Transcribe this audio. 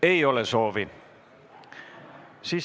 Ei ole soovi.